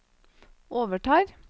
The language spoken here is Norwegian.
overtar